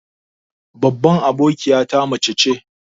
Babban abokiyata mace ce.